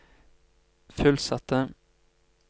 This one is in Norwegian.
fullsatte